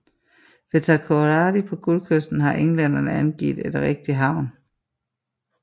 Ved Takoradi på Guldkysten har englænderne anlagt en rigtig havn